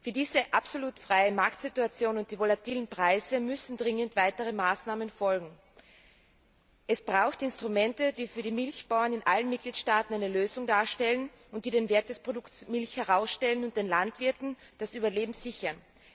Für diese absolut freie Marktsituation und die volatilen Preise müssen dringend weitere Maßnahmen folgen. Es sind Instrumente erforderlich, die für die Milchbauern in allen Mitgliedstaaten eine Lösung darstellen, die den Wert des Produkts Milch herausstellen und die den Landwirten das Überleben sichern.